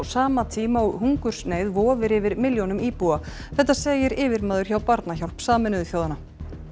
sama tíma og hungursneyð vofir yfir milljónum íbúa þetta segir yfirmaður hjá Barnahjálp Sameinuðu þjóðanna